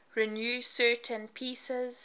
renew certain pieces